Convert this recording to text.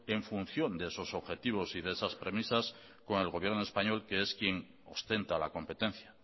en función de esos objetivo y de esas premisas con el gobierno español que es quien ostenta la competencia